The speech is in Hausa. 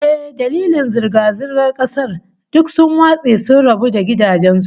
Eh, dalilin girgizan kasar, duk sun watse sun rabu da gidajen su